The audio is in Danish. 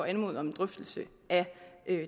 anmode om en drøftelse af